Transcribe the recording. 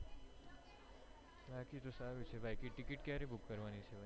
બાકી તો સારું છે બાકી તો ticket ક્યારે book કરવાની છે